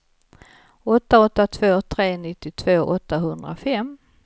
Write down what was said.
åtta åtta två tre nittiotvå åttahundrafem